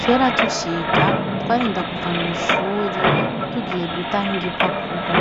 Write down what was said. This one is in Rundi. Kera tuciga twarinda kuva mw'ishuri tugiye guta nk'igipapuro